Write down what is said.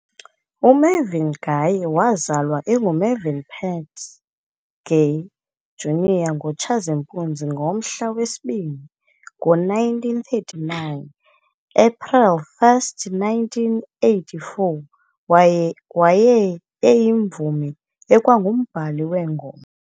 UMarvin Gaye wazalwa enguMarvin Pentz Gay, Jr.ngoTshazimpuzi ngomhla wesi-2, ngo1939 - April 1, 1984,waye eyimvumi ekwangumbhali weengoma.